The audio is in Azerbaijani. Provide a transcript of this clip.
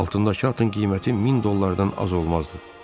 Altındakı atın qiyməti 1000 dollardan az olmazdı.